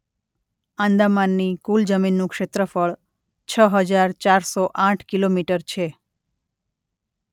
આંદામાનની કુલ જમીનનું ક્ષેત્રફળ છ હજાર ચારસો આઠ કિ.મી. છે